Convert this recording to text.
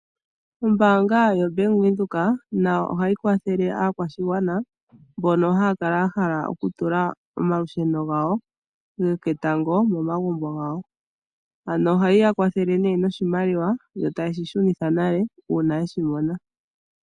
Ombaanga yaBank Windhoek nayo ohayi kwathele aakwashigwana mbono haya kala ya hala oku tula omalusheno gawo goketango momagumbo gawo. Ano ohayi ya kwathele nee noshimaliwa yo taye shi shunitha nale una yeshi mona.